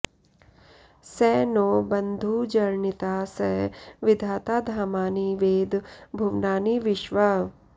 स नो बन्धुर्जनिता स विधाता धामानि वेद भुवनानि विश्वा